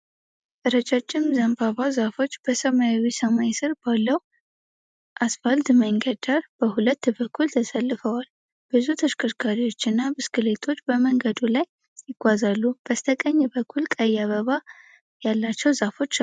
ረጃጅም ዘንባባ ዛፎች በሰማያዊ ሰማይ ስር ባለው አስፋልት መንገድ ዳር በሁለት በኩል ተሰልፈዋል። ብዙ ተሽከርካሪዎችና ብስክሌቶች በመንገዱ ላይ ይጓዛሉ፤ በስተቀኝ በኩል ቀይ አበባ ያላቸው ዛፎች አሉ።